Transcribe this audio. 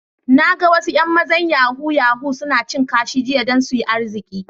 Na gan wasu yan mazan yahoo-yahoo suna cin kashi jiya dan su yi arziki.